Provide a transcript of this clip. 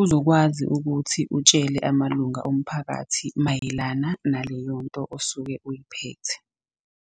uzokwazi ukuthi utshele amalunga omphakathi mayelana naleyonto osuke uyiphethe.